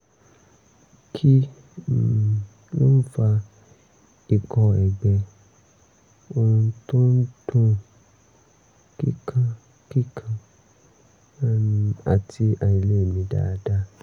kí um ló ń fa ikọ́ ẹ̀gbẹ ohùn tó ń dún kíkankíkan um àti àìlèmí dáadáa?